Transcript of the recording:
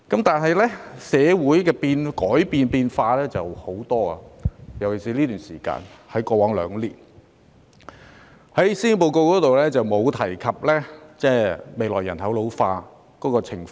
但是，社會不斷改變——尤其是過往兩年——施政報告沒有提及未來人口老化的情況。